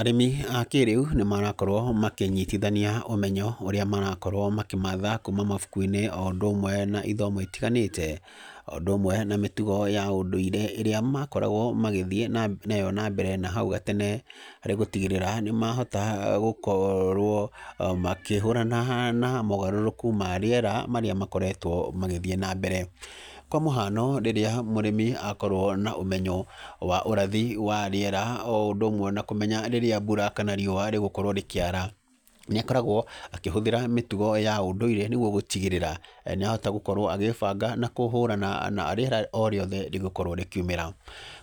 Arĩmi a kĩrĩu nĩ marakorwo makĩnyitithania ũmenyo ũrĩa marakorwo makĩmatha kuma mabuku-inĩ o ũndũ ũmwe na ithomo itiganĩte, o ũndũ ũmwe na mĩtugo ya ũndũire ĩrĩa makoragwo magĩthiĩ nayo na mbere na hau gatene harĩ gũtigĩrĩra nĩ mahota gũkorwo makĩhũrana na mogarũrũku ma rĩera marĩa makoretwo magĩthiĩ na mbere. Kwa mũhano rĩrĩa mũrĩmi akorwo na ũmenyo wa ũrathi wa rĩera o ũndũ ũmwe na kũmenya rĩrĩa mbura kana rĩũa rĩgũkorwo rĩkĩara nĩ akoragwo akĩhũthĩra mĩtugo ya ũndũire nĩguo gũtigĩrĩra nĩ ahota gũkorwo agĩbanga na kũhũrana na rĩera o rĩothe rĩgũkorwo rĩkiũmĩra.